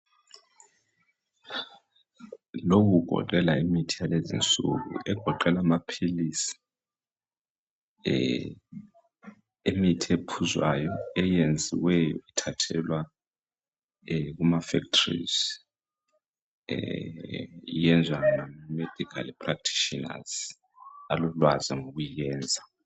Lokhu kugoqela imithi yalezi insuku, egoqela amaphilisi. Imithi ephuzwayo, eyenziwe ithathelwa kumafactories. Iyenziwa ngamaMedical practitioners, alolwazi lokuyenza.